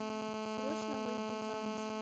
срочно выйду замуж